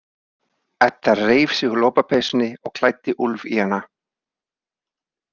Edda reif sig úr lopapeysunni og klæddi Úlf í hana.